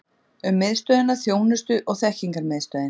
Um Miðstöðina Þjónustu og þekkingarmiðstöðin.